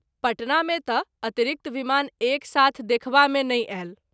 पटना मे त ‘ अतिरिक्त विमान एक साथ देखबा मे नहिं आयल।